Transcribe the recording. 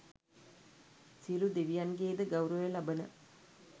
සියලු දෙවියන්ගේ ද ගෞරවය ලබන